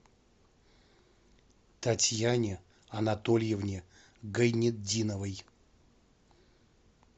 татьяне анатольевне гайнетдиновой